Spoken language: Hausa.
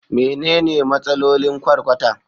Menene Matsalolin Ƙwarƙwara?